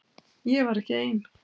Ég var ekki ein.